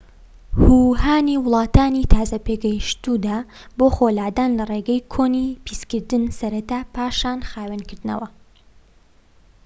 هو هانی وڵاتانی تازە پێگەشتووی دا بۆ خۆلادان لە ڕێگەی کۆنی پیسکردن سەرەتا پاشان خاوێنکردنەوە